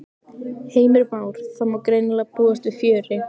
Heimir Már: Það má greinilega búast við fjöri?